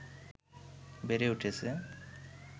বেড়ে উঠেছে